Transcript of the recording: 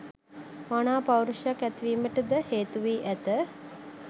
මනා පෞරුෂයක් ඇතිවීමට ද හේතු වී ඇත.